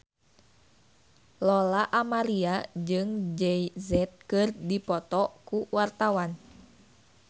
Lola Amaria jeung Jay Z keur dipoto ku wartawan